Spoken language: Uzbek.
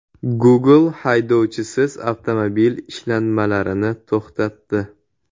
Google haydovchisiz avtomobil ishlanmalarini to‘xtatdi.